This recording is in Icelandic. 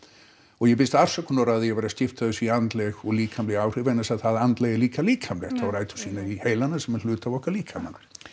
og ég biðst afsökunar á því að vera að skipta þessu í andleg og líkamleg áhrif vegna þess að það andlega er líka líkamlegt og á rætur sínar í heilanum sem er hluti af okkar líkama